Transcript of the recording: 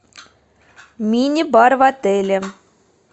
мини бар в отеле